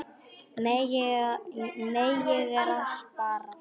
Nei, ég er að spara.